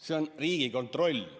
See on Riigikontroll.